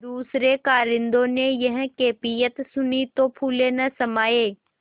दूसरें कारिंदों ने यह कैफियत सुनी तो फूले न समाये